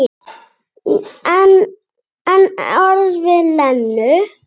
En ekki orð við Lenu.